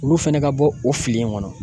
Olu fɛnɛ ka bɔ o fili in kɔnɔ